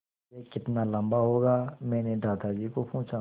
यह कितना लम्बा होगा मैने दादाजी को पूछा